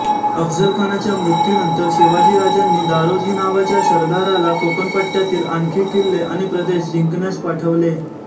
अफझलखानच्या मृत्यूनंतर शिवाजीराजांनी दोरोजी नावाच्या सरदाराला कोकणपट्ट्यातील आणखी किल्ले आणि प्रदेश जिंकण्यास पाठवले